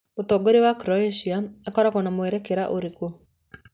Mũtongoria wa Croatia akoragwo na mwerekera ũrĩkũ?